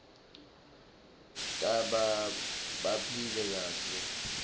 tbanta baphile kahle